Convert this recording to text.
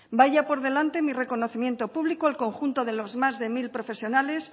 vaya por delante mi reconocimiento público al conjunto de los más de mil profesionales